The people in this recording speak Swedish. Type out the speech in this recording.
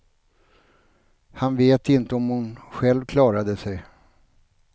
Han vet inte om hon själv klarade sig.